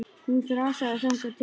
Hún þrasaði þangað til.